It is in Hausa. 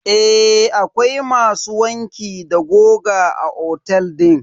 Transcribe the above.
Eh akwai masu wanki da goga a otel din.